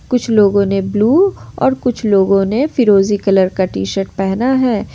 कुछ लोगों ने ब्लू और कुछ लोगों ने फिरोजी कलर का टी शर्ट पहना है।